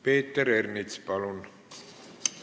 Peeter Ernits, palun!